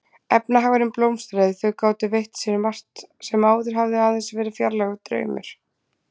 Efnahagurinn blómstraði, þau gátu veitt sér margt sem áður hafði aðeins verið fjarlægur draumur.